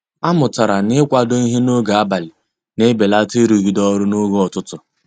A mụtara na -kwado ịhe n'oge abalị na-ebelata irugide ọrụ n'oge ụtụtụ.